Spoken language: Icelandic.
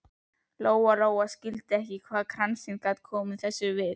Lóa Lóa skildi ekki alveg hvað kransinn gat komið þessu við.